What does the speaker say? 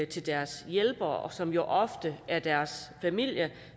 til deres hjælpere som jo ofte er deres familie